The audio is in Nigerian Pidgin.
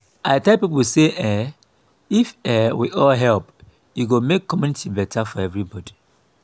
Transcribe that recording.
i tell people say um if um we all help e go make make community better for everybody.